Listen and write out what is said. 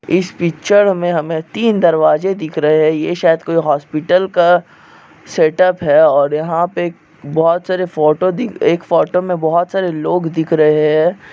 इस पिचर में हमें तीन दरवाज़े दिख रहे है ये शायद कोई हॉस्पिटल का सेटअप है और यहाँ पे बोहत सारी फोटो दिख एक फोटो में बोहत सारी लोग दिख रहे हैं।